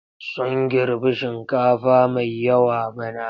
Sun girbi shinkafa mai yawa bana.